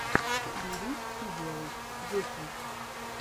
бери и делай дети